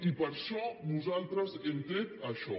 i per això nosaltres hem tret això